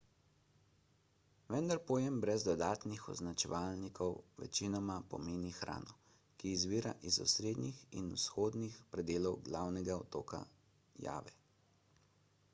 vendar pojem brez dodatnih označevalnikov večinoma pomeni hrano ki izvira iz osrednjih in vzhodnih predelov glavnega otoka jave